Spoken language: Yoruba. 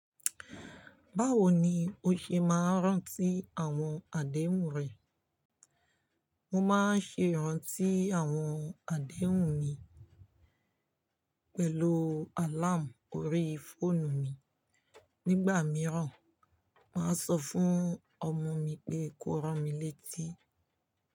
Báwo ni o ṣe máa ń rántí àwọn àdéhùn rẹ? Mo máa ń ṣe ìrántí àwọn àdéhùn mi pẹ̀lú àlàmú orií fóònù mi. Nígbà mìíràn, màá sọ fún ọmọ mi pé kó rán mi létí.